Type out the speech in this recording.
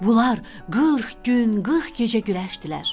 Bunlar 40 gün, 40 gecə güləşdilər.